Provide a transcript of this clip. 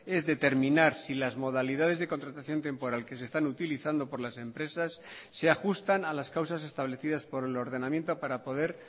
es determinar si las modalidades de contratación temporal que se están utilizando por las empresas se ajustan a las causas establecidas por el ordenamiento para poder